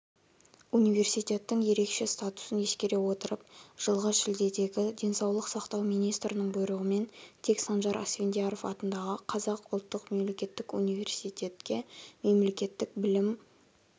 университеттің ерекше статусын ескере отырып жылғы шілдедегі денсаулық сақтау министрінің бұйрығымен тек санжар асфендияров атындағы қазақ ұлттық мемлекеттік университетке мемлекеттік білім